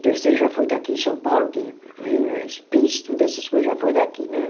terceiro já foi daqui em São Paulo, que vinha, e pis, tudo essas coisa, já foi daqui né